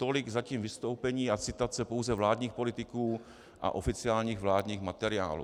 Tolik zatím vystoupení a citace pouze vládních politiků a oficiálních vládních materiálů.